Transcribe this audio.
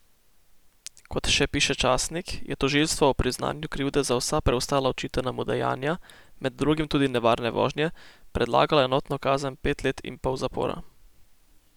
Kot še piše časnik, je tožilstvo ob priznanju krivde za vsa preostala očitana mu dejanja, med drugim tudi nevarne vožnje, predlagalo enotno kazen pet let in pol zapora.